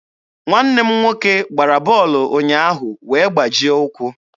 Nwanne m nwoke gbara bọọlụ ụnyaahụ wee gbajie ụkwụ.